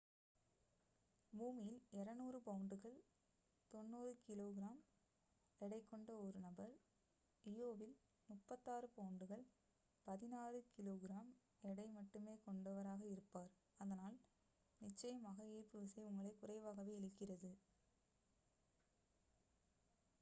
பூமியில் 200 பவுண்டுகள் 90கிகி எடை கொண்ட ஒரு நபர் இயோவில் 36 பவுண்டுகள் 16கிகி எடை மட்டுமே கொண்டவராக இருப்பார். அதனால் நிச்சயமாக ஈர்ப்புவிசை உங்களை குறைவாகவே இழுக்கிறது